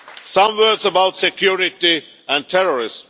Some words about security and terrorism.